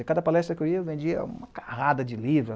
E cada palestra que eu ia, eu vendia uma carrada de livro.